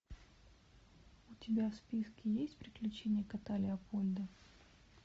у тебя в списке есть приключения кота леопольда